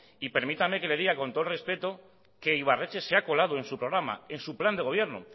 permítame que le diga con todo el respeto que ibarretxe se ha colado en su programa en su plan de gobierno